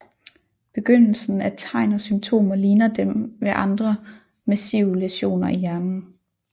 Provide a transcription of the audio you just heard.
Begyndelsen af tegn og symptomer ligner dem ved andre massive læsioner i hjernen